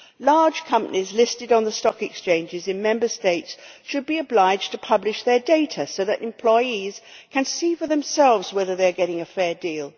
Large companies listed on the stock exchanges in Member States should be obliged to publish their data so that employees can see for themselves whether they are getting a fair deal.